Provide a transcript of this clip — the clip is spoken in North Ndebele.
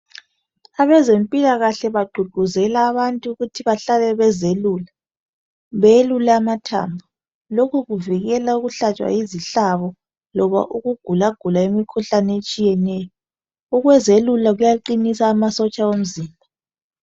Abenze mpilakahle baququzela abantu ukuthi bahlale bezelula beyelula amathambo lukhu kuvikela ukuhlantshwa yizihlabo loba ukugulagula imikhuhlane etshiyeneyo ukuzelula kuyaqinisa amasotsha womzimba